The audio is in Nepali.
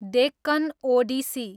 डेक्कन ओडिसी